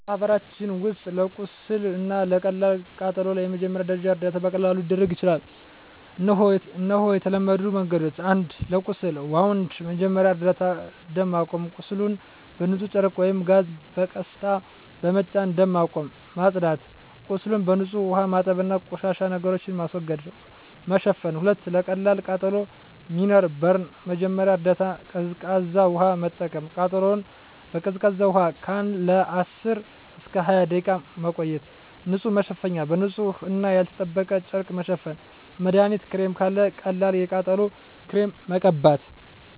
በማህበረሰባችን ውስጥ ለቁስል እና ለቀላል ቃጠሎ የመጀመሪያ ደረጃ እርዳታ በቀላሉ ሊደረግ ይችላል። እነሆ የተለመዱ መንገዶች፦ 1. ለቁስል (Wound) መጀመሪያ እርዳታ ደም ማቆም – ቁስሉን በንጹህ ጨርቅ ወይም ጋዝ በቀስታ በመጫን ደም ማቆም። ማጽዳት – ቁስሉን በንጹህ ውሃ ማጠብ እና ቆሻሻ ነገሮችን ማስወገድ። መሸፈን – 2. ለቀላል ቃጠሎ (Minor Burn) መጀመሪያ እርዳታ ቀዝቃዛ ውሃ መጠቀም – ቃጠሎውን በቀዝቃዛ ውሃ ለ10–20 ደቂቃ መቆየት። ንጹህ መሸፈኛ – በንጹህ እና ያልተጠበቀ ጨርቅ መሸፈን። መድሀኒት ክሬም – ካለ ቀላል የቃጠሎ ክሬም መቀበት።